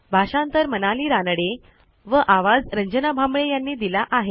भाषांतर मनाली रानडे आवाज यांनी दिला आहे